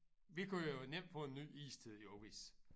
Vi kunne jo nemt få en ny istid jo hvis